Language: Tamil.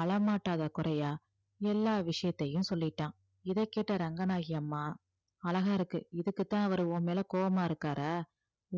அழமாட்டாத குறையா எல்லா விஷயத்தையும் சொல்லிட்டான் இதைக் கேட்ட ரங்கநாயகி அம்மா அழகா இருக்கு இதுக்குத் தான் அவர் உன் மேல கோபமா இருக்காரா